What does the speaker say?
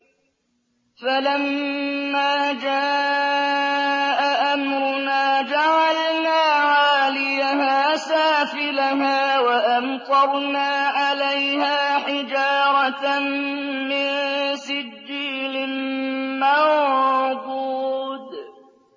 فَلَمَّا جَاءَ أَمْرُنَا جَعَلْنَا عَالِيَهَا سَافِلَهَا وَأَمْطَرْنَا عَلَيْهَا حِجَارَةً مِّن سِجِّيلٍ مَّنضُودٍ